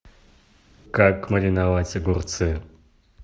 как мариновать огурцы